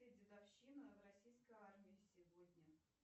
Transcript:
дедовщина в российской армии сегодня